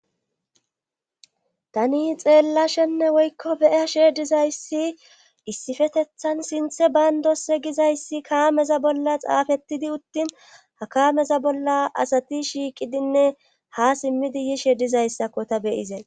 Tani xeellashenne woykko beyashe dizayssi issifetethan sinthe bayndo se gizayssi kaameza bolla xaafettidi uttin ha kaameza bolla asati shiiqidinne ha simmidi yiishe dizayssakko ta beyizeen.